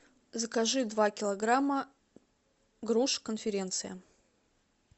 закажи два килограмма груши конференция